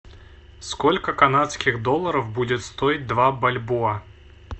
сколько канадских долларов будет стоить два бальбоа